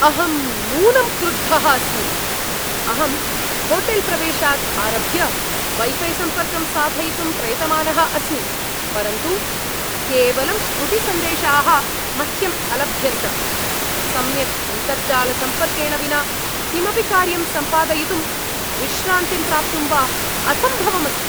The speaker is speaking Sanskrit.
अहं नूनं क्रुद्धः अस्मि, अहं होटेल्प्रवेशात् आरभ्य वै फ़ै सम्पर्कं साधयितुं प्रयतमानः अस्मि, परन्तु केवलं त्रुटिसन्देशाः मह्यम् अलभ्यन्त, सम्यक् अन्तर्जालसम्पर्केण विना किमपि कार्यं सम्पादयितुं, विश्रान्तिं प्राप्तुं वा असम्भवम् अस्ति।